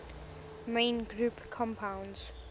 main group compounds